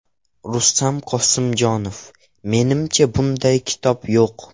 Rustam Qosimjonov: Menimcha, bunday kitob yo‘q.